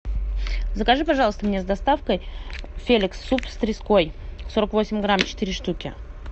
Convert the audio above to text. закажи пожалуйста мне с доставкой феликс суп с треской сорок восемь грамм четыре штуки